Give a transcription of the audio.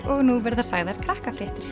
og nú verða sagðar